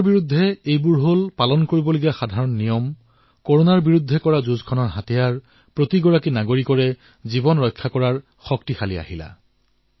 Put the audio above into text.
এই নিয়মসমূহ পালন কৰি এই কৰোনাৰ বিৰুদ্ধে প্ৰতিজন নাগৰিকৰ জীৱন ৰক্ষা কৰাৰ ভূমিকা পালন কৰক